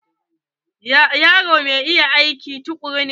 Yaron mai iya aiki tukuru ne.